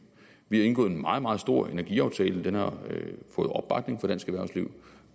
vi har indgået en meget meget stor energiaftale den har fået opbakning fra dansk erhvervsliv